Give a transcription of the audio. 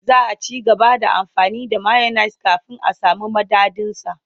Za a ci gaba da amfani da mayones kafin a sami madadinsa.